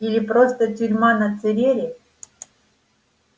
или просто тюрьма на церере